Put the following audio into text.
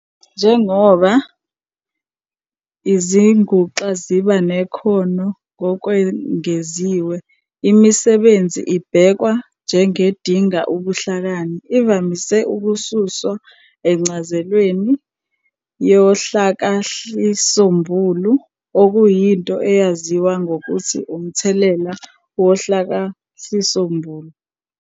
Njengoba izinguxa ziba nekhono ngokwengeziwe, imisebenzi ebhekwa njengedinga "ubuhlakani" ivamise ukususwa encazelweni yohlakahlisombulu, okuyinto eyaziwa ngokuthi 'umthelela wohlakahlisombulu'.